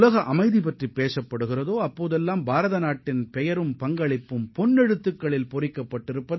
உலக அமைதி பற்றி எங்கு பேச்சு எழுந்தாலும் அங்கு இந்தியாவின் பெயரும் பங்களிப்பும் பொன் எழுத்துக்களால் பொறிக்கப்படும்